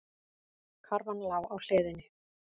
Karfan lá á hliðinni.